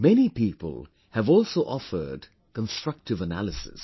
Many people have also offered Constructive Analysis